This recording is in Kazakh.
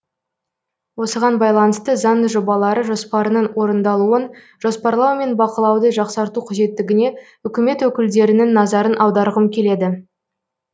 осыған байланысты заң жобалары жоспарының орындалуын жоспарлау мен бақылауды жақсарту қажеттігіне үкімет өкілдерінің назарын аударғым келеді